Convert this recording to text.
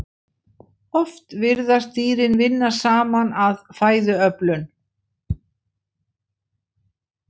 Oft virðast dýrin vinna saman að fæðuöflun.